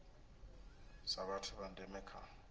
sa vhathu vha ndeme kha